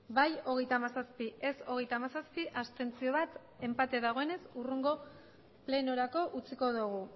bai hogeita hamazazpi ez hogeita hamazazpi abstentzioak bat enpate dagoenez hurrengo plenorako utziko dugu